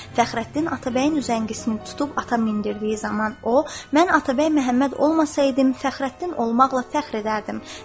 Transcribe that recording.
Fəxrəddin Atabəyin üzəngisini tutub atı mindirdiyi zaman o, mən Atabəy Məhəmməd olmasaydım, Fəxrəddin olmaqla fəxr edərdim.